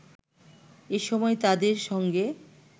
এ সময় তাদের সঙ্গে